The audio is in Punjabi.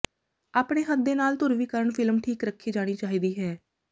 ਆਪਣੇ ਹੱਥ ਦੇ ਨਾਲ ਧਰੁਵੀਕਰਨ ਫਿਲਮ ਠੀਕ ਰੱਖੀ ਜਾਣੀ ਚਾਹੀਦੀ ਹੈ